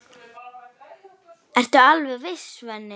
Ertu alveg viss, Svenni?